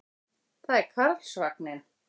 Það er Karlsvagninn.